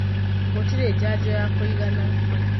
Gũtirĩjanjo ya kũigana.